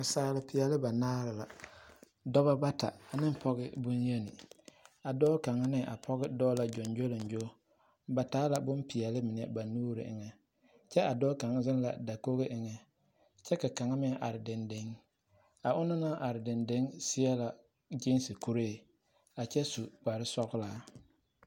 Naasaalepeɛle banaare la dɔba bata ane pɔɡe bonyeni a dɔɔ kaŋe ane a pɔɡe kaŋe dɔɔ lq ɡyɔŋɡyoleŋɡyo ba taa la bompeɛle mine ba nuuriŋ kyɛ a dɔɔ kaŋ zeŋ la dakoɡi eŋɛŋ kyɛ ka akŋ meŋ are dendeŋ a ona na naŋ are dendeŋ seɛ la ɡyiisi kuree a kyɛ su kparsɔɡelaa.